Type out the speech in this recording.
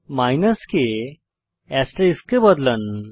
minus কে asterisk এ বদলান